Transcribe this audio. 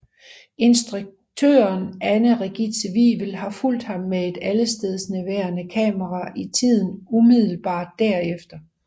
Instruktøren Anne Regitze Wivel har fulgt ham med et allestedsnærværende kamera i tiden umiddelbart derefter